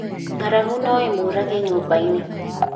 Ngaragu no ĩmũrage nyũmba-inĩ